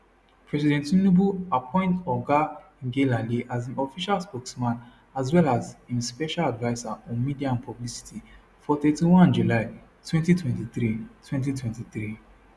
president tinubu appoint oga ngelale as im official spokesman as well as im special adviser on media and publicity for 31 july 2023 2023